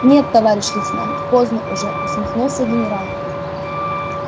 нет товарищ лейтенант поздно уже усмехнулся генерал